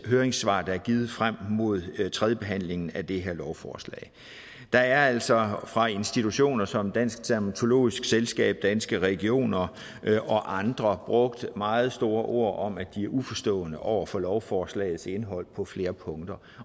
høringssvar der er givet frem mod tredjebehandlingen af det her lovforslag der er altså fra institutioner som dansk dermatologisk selskab danske regioner og andre brugt meget store ord om at de er uforstående over for lovforslagets indhold på flere punkter